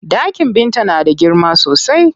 Ɗakin Binta na da girma sosai.